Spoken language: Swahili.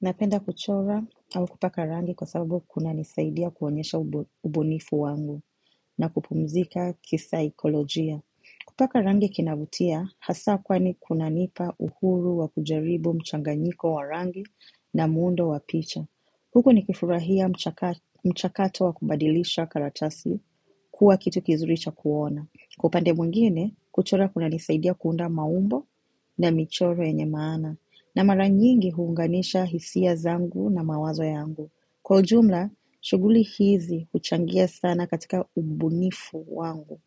Napenda kuchora au kupaka rangi kwa sababu kunanisaidia kuonyesha ubunifu wangu na kupumzika kisaikolojia. Kupaka rangi kinavutia hasa kwani kunanipa uhuru wa kujaribu mchanganyiko wa rangi na muundo wa picha. Huku nikifurahia mchakato wa kubadilisha karatasi kuwa kitu kizuri cha kuona. Kwa upande mwingine, kuchora kunanisaidia kuunda maumbo na michoro yenye maana. Na mara nyingi huunganisha hisia zangu na mawazo yangu. Kwa ujumla, shughuli hizi huchangia sana katika ubunifu wangu